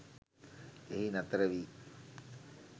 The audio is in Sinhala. එහි නතර වී